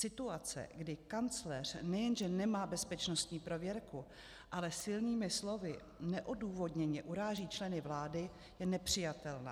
Situace, kdy kancléř nejenže nemá bezpečnostní prověrku, ale silnými slovy neodůvodněně uráží členy vlády, je nepřijatelná.